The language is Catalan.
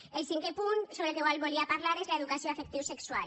el cinquè punt sobre el qual volia parlar és l’educació afectivosexual